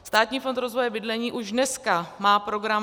Státní fond rozvoje bydlení už dneska má program -